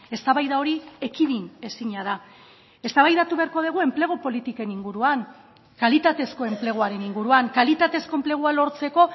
eztabaida hori ekidin ezina da eztabaidatu beharko dugu enplegu politiken inguruan kalitatezko enpleguaren inguruan kalitatezko enplegua lortzeko